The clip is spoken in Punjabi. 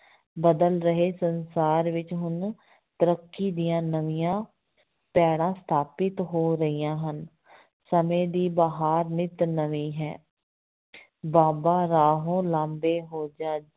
ਬਦਲ ਰਹੇ ਸੰਸਾਰ ਵਿੱਚ ਹੁਣ ਤਰੱਕੀ ਦੀਆਂ ਨਵੀਆਂ ਪੈੜ੍ਹਾਂ ਸਥਾਪਿਤ ਹੋ ਰਹੀਆਂ ਹਨ ਸਮੇਂ ਦੀ ਬਹਾਰ ਨਿੱਤ ਨਵੀਂ ਹੈ ਬਾਬਾ ਰਾਹੋਂ ਲਾਂਭੇ ਹੋ ਜਾ